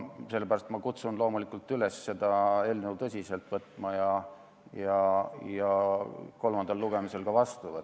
Sellepärast kutsun ma üles seda eelnõu tõsiselt võtma ja kolmandal lugemisel seadust ka vastu võtma.